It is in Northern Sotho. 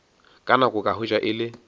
nako ka hwetša e le